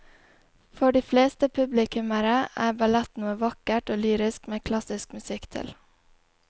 For de fleste publikummere er ballett noe vakkert og lyrisk med klassisk musikk til.